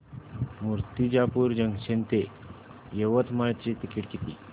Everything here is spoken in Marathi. मूर्तिजापूर जंक्शन ते यवतमाळ चे तिकीट किती